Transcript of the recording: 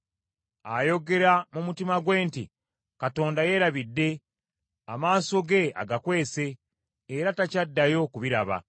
Ayogera mu mutima gwe nti, “Katonda yeerabidde, amaaso ge agakwese, era takyaddayo kubiraba.”